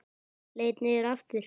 Leit niður aftur.